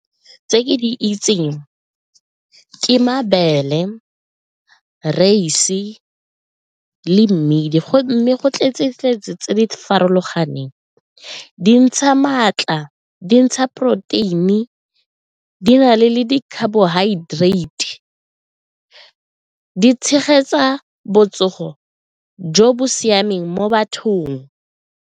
Tse ke di itseng ke mabele, reise le mmidi mme go tletse-tletse tse di farologaneng, di ntsha maatla, di ntsha protein-e, di na le di-carbohydrates, di tshegetsa botsogo jo bo siameng mo bathong.